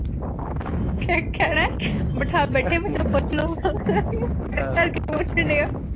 ਕ